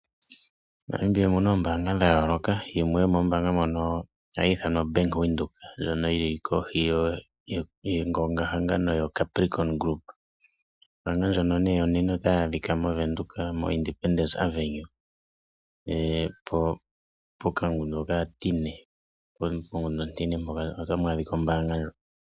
MoNamibia omuna oombanga dha yooloka yimwe yomoombanga moka ohayi ithanwa Bank Windhoek ndjono yili kohi yongongahangano yoCapricorn Group. Ombanga ndjoka onene otayi adhika moVenduka moIndipendence Avenue mokandunda okatine omo tamu adhika ombanga ndjoka.